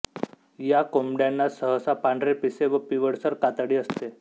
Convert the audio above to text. या कोंबड्यांना सहसा पांढरी पिसे व पिवळसर कातडी असते